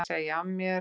Segja af mér